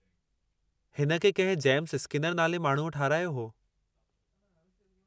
हिन खे कंहिं जेम्स स्किनर नाले माण्हूअ ठहिरायो हो।